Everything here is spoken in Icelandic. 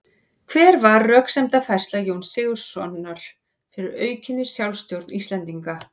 Hver var röksemdafærsla Jóns Sigurðssonar fyrir aukinni sjálfstjórn Íslendinga?